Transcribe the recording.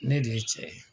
Ne de ye cɛ ye